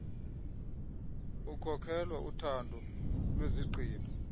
ukukhokela uthatho lwezigqibo